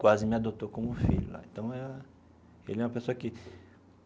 quase me adotou como filho então eh ele é uma pessoa que.